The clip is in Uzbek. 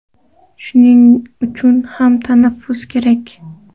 Shuning uchun ham tanaffus kerak.